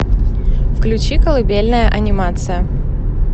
включи колыбельная анимация